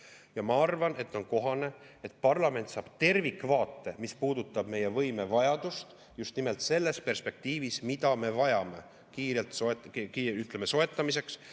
Ja ma arvan, et on kohane, et parlament saab tervikvaate, mis puudutab meie võimevajadust, just nimelt selles perspektiivis, mida me vajame kiirelt soetamiseks.